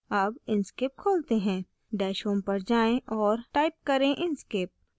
अब inkscape खोलते हैं dash home पर जाएँ और type करें inkscape